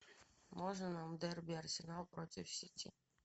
можно нам дерби арсенал против сити